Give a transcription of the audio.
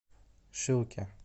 шилке